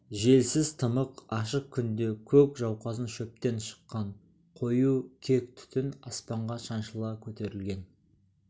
желсіз тымық ашық күнде көк жауқазын шөптен шыққан қою кек түтін аспанға шаншыла көтерілген